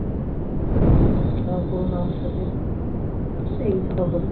এরকম করো না আমার সাথে তারপর এইসব হল